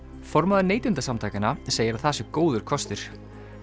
formaður Neytendasamtakanna segir að það sé góður kostur